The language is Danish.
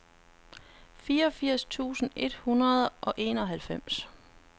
fireogfirs tusind et hundrede og enoghalvfems